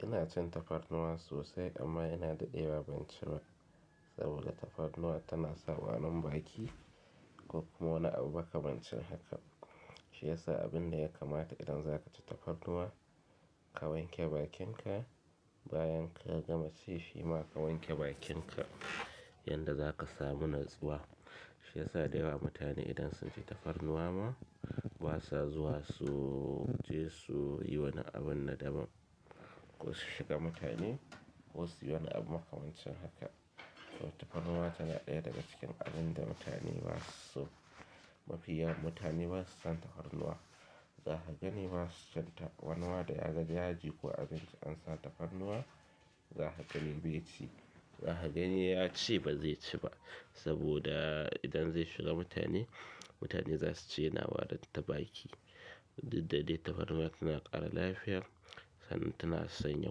Ina cin tafarnuwa sosai amma ina daɗewa ban ciba, saboda tafarnuwa tana sa warin baki ko kuma wani abu ba ka makamancin haka. Shi yasa abin da ya kamata idan zaka ci tafarnuwa, ka wanke bakinka bayan ka gama ci shi ma ka wanke bakinka yanda zaka samu nutsuwa. Shi yasa da yawa mutane idan sun ci tafarnuwa ma, basa zuwa su je su yi wani abun nadama. Ko su shiga mutane ko su yi wani abu ka mance haka. To tafarnuwa tana ɗaya daga cikin abun da mutane basu so mafiya mutane basu son tafarnuwa. Za ka gani ba su cin ta, wani ma da ya gani yaji ko abinci an sa tafarnuwa, za ka gani bai ci. Za ka gani ya ce ba zai ci ba. Saboda idan zai shiga mutane, mutane za su ce yana warin ta baki. Diddade tafarnuwa tana ƙara lafiya, sannan tana sanya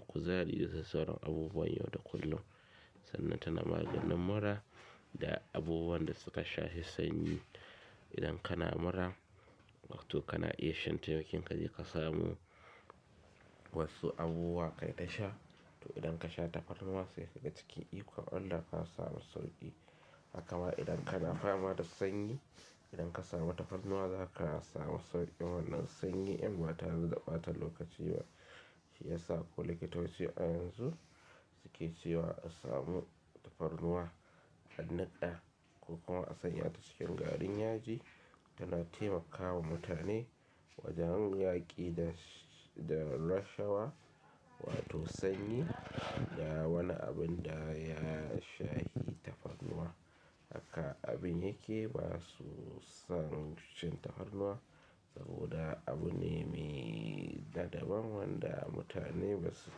kuzari da sauran abubuwan yau da kullum. Sannan tana maganin mura da abubuwan da suka shafi sanyi. Idan kana mura, lokan kana iya shan tayokinka je ka samu wasu abubuwa ka dai sha. To idan ka sha tafarnuwa sai ka ga cikin ikon Allah ka samu sauƙi. Hakama idan kana fama da sanyi, idan ka samu tafarnuwa zaka samu sauƙin wannan sanyi in ba ta re da ɓata lokaci ba. Shi yasa ko likitoci a yanzu suke cewa an samu tafarnuwa a naɗa ko kuma an sanya ta cikin garin yaji, tana taimakawa mutane wajen yaƙi da, da rashawa wato sanyi da wani abun da ya shafi tafarnuwa. Haka abun yake basu san cin tafarnuwa saboda abu ne me dadaban wanda mutane basu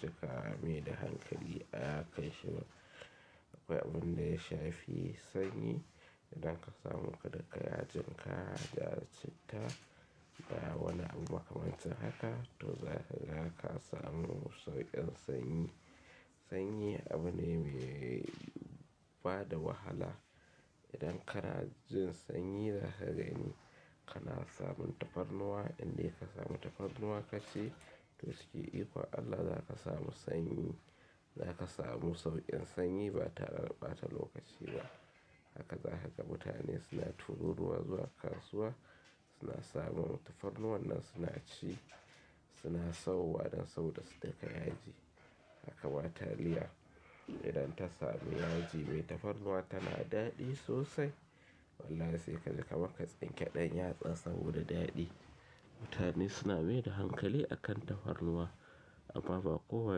cika maida hankali kansa ba abun da ya shafi sanyi, idan ka samu ka daka yajin ka, ka citta da wani abu ba ka mance haka, to za ka, za ka samu sauƙin sanyi. Sanyi abu ne me bada wahala. Idan ka na jin sanyi za ka gani kana samun tafarnuwa, indai ka samu tafarnuwa ka ci, to cikin ikon Allah za ka samu sanyi, za ka samu sauƙin sanyi ba tare da ɓata lokaci ba. Haka za haka mutane suna tururuwa zuwa kasuwa, suna samun tafarnuwa nan suna ci, suna sauwa dan sau da su daƙa yaji. Hakawa taliya idan ta samu yaji mai tafarnuwa tana daɗi sosai. Wallahi sai kaji kaman ka tsinke ɗan yatsa saboda daɗi. Mutane suna mai da hankali akan tafarnuwa, amma ba kowa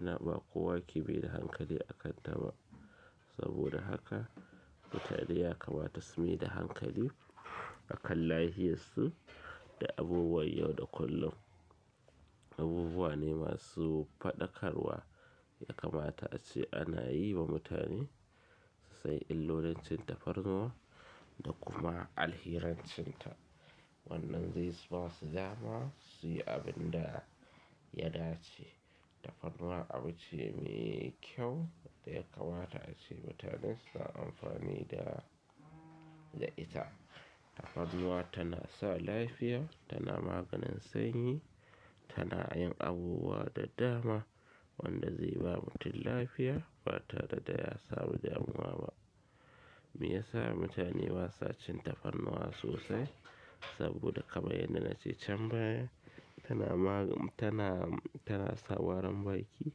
na, ba kowa ke mi da hankali akanta ba. Saboda haka, mutane ya kamata su mai da hankali akan lafiyarsu da abubuwan yau da kullum. Abubuwa ne masu faɗakarwa ya kamata ace ana yi wa mutane su san illolancin tafarnuwa da kuma alhirancinta. Wannan zai son siya ma sai yayi abunda ya dace. Tafarnuwa abu ce me kyau da ya kamata ace mutane suna amfani da, da ita. Tafarnuwa tana sa lafiya, tana maganin sanyi, tana yin abubuwa da dama wanda zai ba mutum lafiya ba tare da ya samu damuwa ba. Meyasa mutane basa cin tafarnuwa sosai? Saboda kamar yadda na ce can baya, tana magan, tana, tana sa warin baki,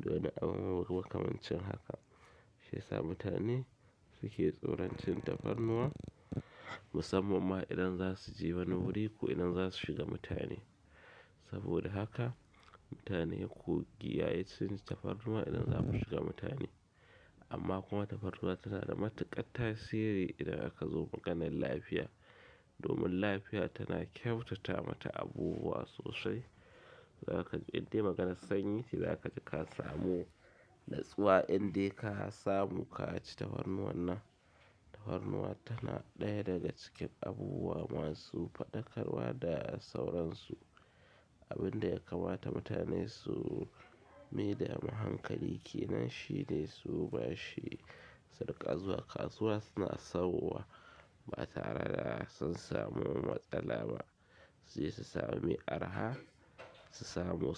domi abu ba ka mance haka. Shi yasa mutane suke tsoron cin tafarnuwa, musamman ma idan za su je wani wuri ko idan za su shiga mutane. Saboda haka, mutane ku kiyaye cin tafarnuwa idan za mu shiga mutane. Amma kuma tafarnuwa tana da matuƙar tasiri idan aka zo maganan lafiya. Domin lafiya tana ƙyautata mata abubuwa sosai. Za ka ji idai maganan sanyi za ka ji ka samu nutsuwa indai ka samu ka ci tafarnuwa nan. Tafarnuwa tana ɗaya daga cikin abubuwa masu faɗakarwa da sauransu. Abun da ya kamata mutane su mi da mu hankali kenan shi ne su bashi sadaƙa zuwa kasuwa suna sauwa ba tare da sun samu matsala ba. Su yi su sami mai araha, su samu.